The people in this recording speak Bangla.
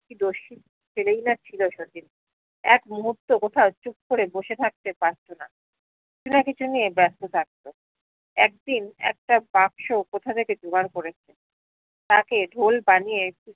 কি দশি ছেলেই না ছিলো শচীন এক মুহূর্ত কোথাও চুপ করে বসে থাকতে পারত না কিছু নিয়ে ব্যস্ত থাকত একদিন একটা বাক্স কোথা থেকে যোগার করেছে তাকে ঢোল বানিয়ে